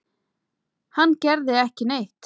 Hann gerði ekki neitt.